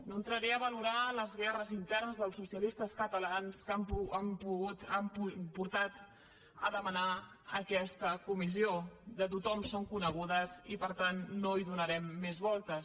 no entraré a valorar les guerres internes dels socialistes catalans que han portat a demanar aquesta comissió de tothom són conegudes i per tant no hi donarem més voltes